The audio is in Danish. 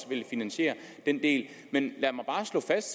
vil finansiere den del men lad mig bare slå fast